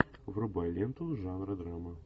врубай ленту жанра драма